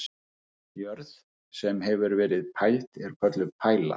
Jörð, sem hefur verið pæld er kölluð pæla.